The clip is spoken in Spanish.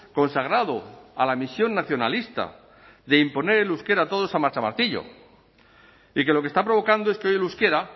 consagrado a la misión nacionalista de imponer el euskera a todos a machamartillo y que lo que está provocando es que hoy el euskera